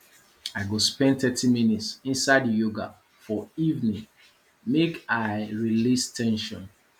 i go spend thirty minutes inside yoga for evening make i release ten sion